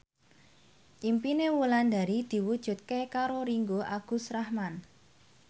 impine Wulandari diwujudke karo Ringgo Agus Rahman